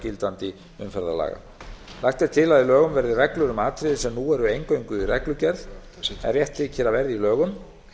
gildandi umferðarlaga lagt er til að í lögunum verði reglur um atriði sem nú eru eingöngu í reglugerð en rétt þykir að verði í lögum